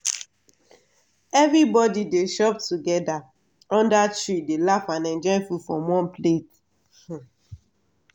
everybody dey chop together under tree dey laugh and enjoy food from one plate.